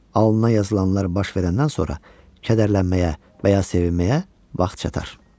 Alnına yazılanlar baş verəndən sonra kədərlənməyə və ya sevinməyə vaxt çatar.